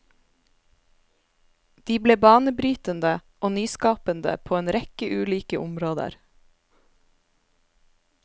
De ble banebrytende og nyskapende på en rekke ulike områder.